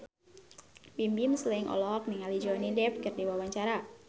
Bimbim Slank olohok ningali Johnny Depp keur diwawancara